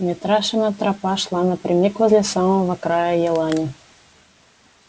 митрашина тропа шла напрямик возле самого края елани